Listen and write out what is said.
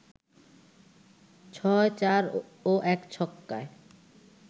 ৬ চার ও ১ ছক্কায়